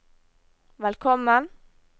velkommen